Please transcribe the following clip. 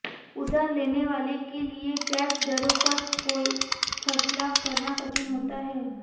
उधार लेने वालों के लिए ब्याज दरों पर कोई फैसला करना कठिन होता है